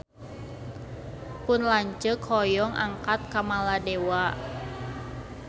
Pun lanceuk hoyong angkat ka Maladewa